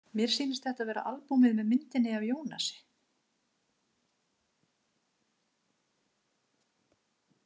Mér sýnist þetta vera albúmið með myndinni af Ionasi.